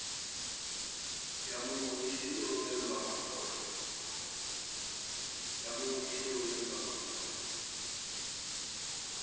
ya mongodisi e romela mangolo